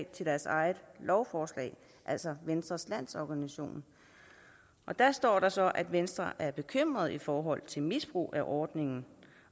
til deres eget lovforslag altså venstres landsorganisation og der står der så at venstre er bekymret i forhold til misbrug af ordningen